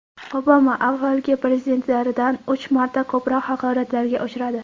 Obama avvalgi prezidentlardan uch marta ko‘proq haqoratlarga uchradi.